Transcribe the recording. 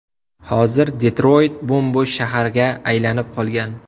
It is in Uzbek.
Hozir Detroyt bo‘m-bo‘sh shaharga aylanib qolgan.